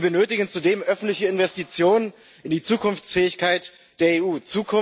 Wir benötigen zudem öffentliche Investitionen in die Zukunftsfähigkeit der EU.